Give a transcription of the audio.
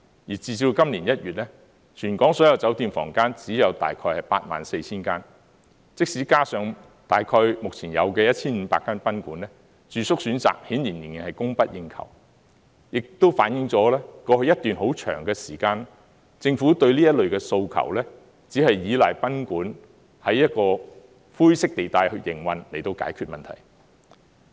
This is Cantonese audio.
截至今年1月，全港所有酒店房間只有大約 84,000 間，即使加上大約現有的 1,500 間賓館，住宿選擇顯然仍然是供不應求，亦都反映出，過去一段很長時間，政府對這類訴求，只是依賴賓館在灰色地帶裏去營運，以解決問題。